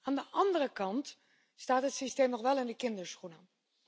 Aan de andere kant staat het systeem nog wel in de kinderschoenen.